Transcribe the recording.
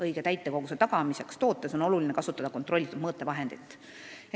Õige täitekoguse tagamiseks tootes on oluline kasutada kontrollitud mõõtevahendit.